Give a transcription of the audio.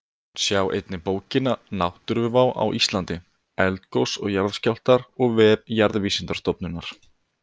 Sjá einnig bókina Náttúruvá á Íslandi: Eldgos og jarðskjálftar og vef Jarðvísindastofnunar.